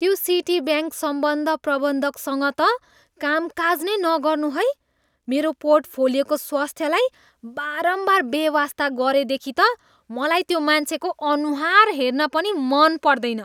त्यो सिटीब्याङ्क सम्बन्ध प्रबन्धकसँग त कामकाज नै नगर्नु है! मेरो पोर्टफोलियोको स्वास्थ्यलाई बारम्बार बेवास्ता गरेदेखि त मलाई त्यो मान्छेको अनुहार हेर्न पनि मन पर्दैन।